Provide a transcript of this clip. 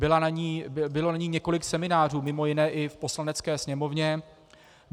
Bylo na ni několik seminářů, mimo jiné i v Poslanecké sněmovně.